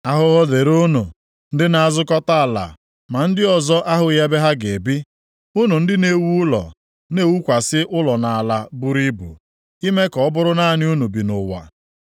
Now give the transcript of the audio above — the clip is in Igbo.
Ahụhụ dịrị unu ndị na-azụkọta ala ma ndị ọzọ ahụghị ebe ha ga-ebi, unu ndị na-ewu ụlọ na-ewukwasị ụlọ nʼala buru ibu, ime ka ọ bụrụ naanị unu bi nʼụwa.